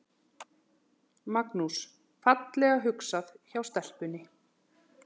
Magnús: Fallega hugsað hjá stelpunni?